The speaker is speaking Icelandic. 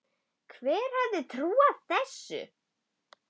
Hver hefði trúað þessu!